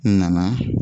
N nana